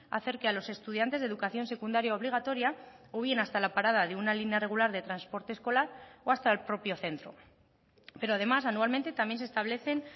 acerque a los estudiantes de educación secundaria obligatoria o bien hasta la parada de una línea regular de transporte escolar o hasta el propio centro pero además anualmente también se establecen